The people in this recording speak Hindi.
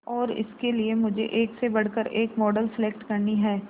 और इसके लिए मुझे एक से बढ़कर एक मॉडल सेलेक्ट करनी है